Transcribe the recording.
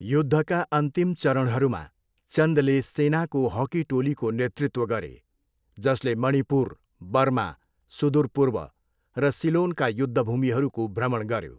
युद्धका अन्तिम चरणहरूमा, चन्दले सेनाको हकी टोलीको नेतृत्व गरे, जसले मणिपुर, बर्मा, सुदूर पूर्व र सिलोनका युद्धभूमिहरूको भ्रमण गऱ्यो।